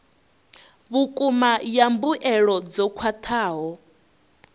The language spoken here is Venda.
vhukuma ya mbuelo dzo khwathaho